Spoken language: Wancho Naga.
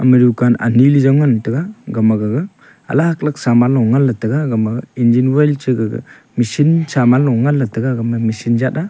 ema rukaan ani le jow ngan tega gama gaga alag alag saman long ngan ley taiga gama engine oil cha gaga machine saman loh ngan ley tega gama machine jat a.